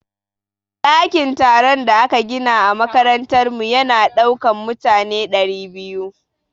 Ɗakin taron da aka gina a makarantar mu ya na ɗaukan mutane ɗari biyu